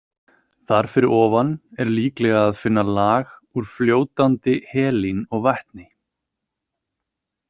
Þar fyrir ofan er líklega að finna lag úr fljótandi helíni og vetni.